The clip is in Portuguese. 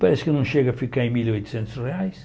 Parece que não chega a ficar em mil e oitocentos reais.